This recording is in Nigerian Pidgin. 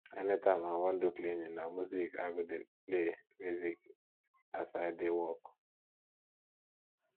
anytime wey i wan do cleaning na music i go dey play music as i dey work